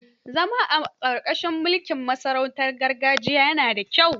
Zama a ƙarƙashin mulkin sarautar gargajiya yana da kyau.